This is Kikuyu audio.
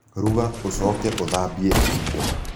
ruga ũcoke ũthambie indo